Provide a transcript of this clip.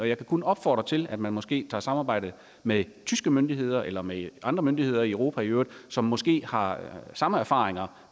jeg kan kun opfordre til at man måske samarbejder med tyske myndigheder eller med andre myndigheder i europa i øvrigt som måske har samme erfaringer